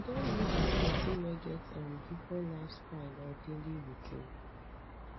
you don live with pesin wey get um different lifestyle or daily routine